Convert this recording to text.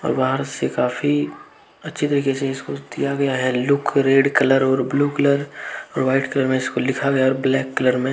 से काफी अच्छे तरीके से इसको दिया गया है लुक रेड कलर और ब्ल्यू कलर और व्हाइट कलर में इसको लिखा गया है और ब्लैक कलर में।